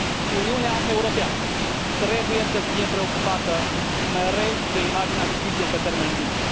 Uniunea Europeană trebuie să fie preocupată mereu de imaginea justiției pe termen lung.